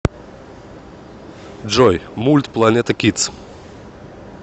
джой мульт планета кидс